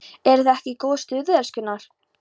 ERUÐ ÞIÐ EKKI Í GÓÐU STUÐI, ELSKURNAR!